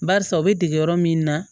Barisa u bɛ dege yɔrɔ min na